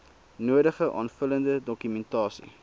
nodige aanvullende dokumentasie